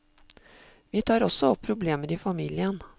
Vi tar også opp problemer i familien.